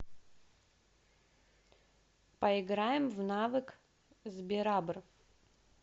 поиграем в навык сберабр